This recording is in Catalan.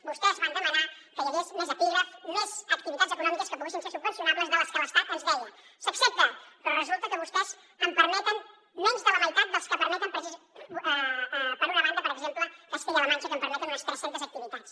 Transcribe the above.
vostès van demanar que hi hagués més epígrafs més activitats econòmiques que poguessin ser subvencionables de les que l’estat ens deia s’accepta però resulta que vostès en permeten menys de la meitat de les que permeten per una banda per exemple castella la manxa que permeten unes tres centes activitats